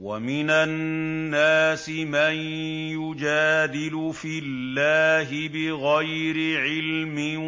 وَمِنَ النَّاسِ مَن يُجَادِلُ فِي اللَّهِ بِغَيْرِ عِلْمٍ